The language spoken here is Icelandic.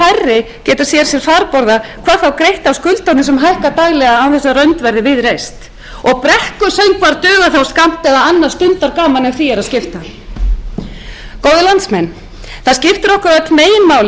sífellt færri geta séð sér farborða hvað þá greitt af skuldunum sem hækka daglega án þess að rönd verði við reist og brekkusöngvar duga þá skammt eða annað stundargaman ef því er að skipta góðir landsmenn það skiptir okkur öll meginmáli að þeir sem veljast